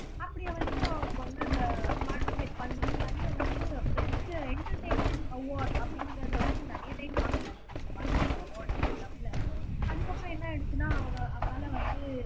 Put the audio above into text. அப்படி வந்து அவருக்கு வந்து அந்த பார்ட்டிசிபேட் பண்ணி நிறைய வந்து பெஸ்ட் எண்டர்டெய்னர் அவார்ட் அப்படிங்கிறதை வந்து நிறைய டைம் வாங்கி இருக்காரு இந்த மாதிரி ஒரு அவார்ட் அந்த க்ளப்ல அதுக்கப்புறம் என்ன ஆயிடுச்சுன்னா அவரு அவரால வந்து